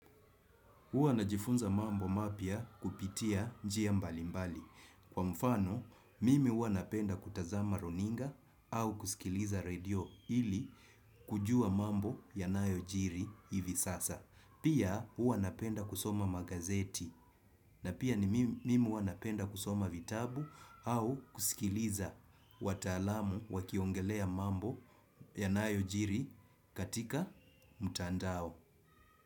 Huwa najifunza mambo mapya kupitia njia mbalimbali. Kwa mfano, mimi huwa napenda kutazama runinga au kusikiliza redio ili kujua mambo yanayojiri hivi sasa. Pia, huwa napenda kusoma magazeti. Na pia mimi huwa napenda kusoma vitabu au kusikiliza wataalam wakiongelea mambo yanayojiri katika mtandao.